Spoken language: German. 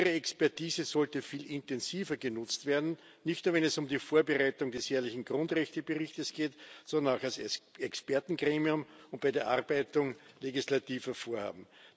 Ihre Expertise sollte viel intensiver genutzt werden, nicht nur, wenn es um die Vorbereitung des jährlichen Grundrechteberichts geht, sondern auch als Expertengremium und bei der Erarbeitung legislativer Vorhaben.